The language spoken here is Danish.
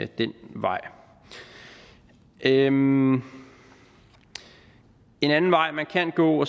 den vej en anden en anden vej man kan gå